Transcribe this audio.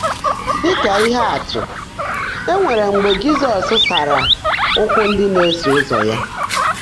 Dị́ kà íhe ạ́tụ́, é nwèrè mgbe Jị́zọ́s sààrá ụ́kwụ́ ndị́ ná-èsó ụ́zọ́ yá.